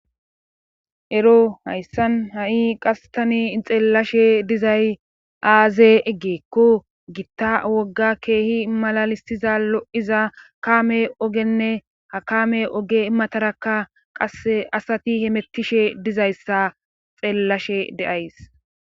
ero hayssan ha7i qastani xeellashe dizay aaze eggeekko gitta wogga keehi malalisiza lo7iza kame ogenne hakame oge imatarakka qase asati hemettishe dizayssa xeellashe deays